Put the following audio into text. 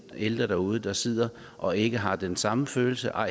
ældre derude der sidder og ikke har den samme følelse og